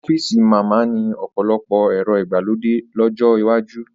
Ọ́fíìsì máa ma ni ọ̀pọ̀lọpọ̀ ẹ̀rọ ìgbàlódé lọ́jọ́ iwájú